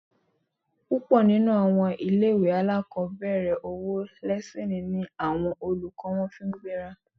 Púpọ̀ nínú àwọn ilé-ìwé alákọ̀ọ́bẹ̀rẹ̀, owó lẹ́síìnì ni àwọn olùkọ́ wọn fi ń gbéra